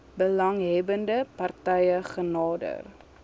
belanghebbende partye genader